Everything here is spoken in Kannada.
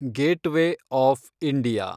gateway of India